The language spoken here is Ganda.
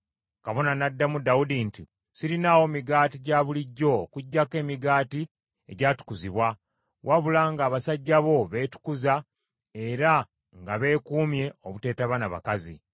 Kabona n’addamu Dawudi nti, “Sirinaawo migaati gya bulijjo okuggyako emigaati egyatukuzibwa, wabula nga abasajja bo beetukuza era nga beekuumye obuteetaba na bakazi.”